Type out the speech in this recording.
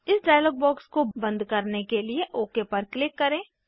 इस dialog box को बंद करने के लिए ओक पर क्लिक करें